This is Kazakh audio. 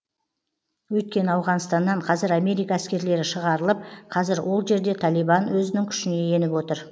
өйткені ауғанстаннан қазір америка әскерлері шығарылып қазір ол жерде талибан өзінің күшіне еніп отыр